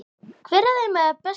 Hver af þeim er bestur?